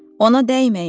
Ona dəyməyin!